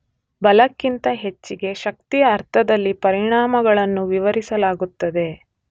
ಬಲಕ್ಕಿಂತ ಹೆಚ್ಚಿಗೆ ಶಕ್ತಿಯ ಅರ್ಥದಲ್ಲಿ ಪರಿಣಾಮಗಳನ್ನು ವಿವರಿಸಲಾಗುತ್ತದೆ.